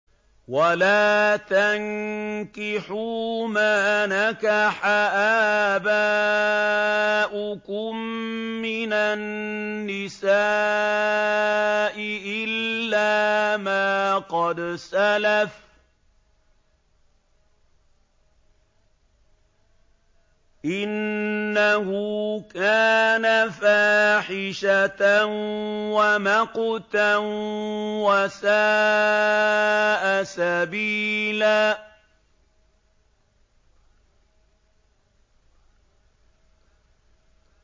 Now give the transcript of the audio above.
وَلَا تَنكِحُوا مَا نَكَحَ آبَاؤُكُم مِّنَ النِّسَاءِ إِلَّا مَا قَدْ سَلَفَ ۚ إِنَّهُ كَانَ فَاحِشَةً وَمَقْتًا وَسَاءَ سَبِيلًا